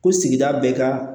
Ko sigida bɛɛ ka